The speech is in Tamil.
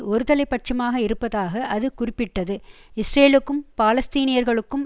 ஒருதலைபட்சமாக இருப்பதாக அது குறிப்பிட்டது இஸ்ரேலுக்கும் பாலஸ்தீனியர்களுக்கும்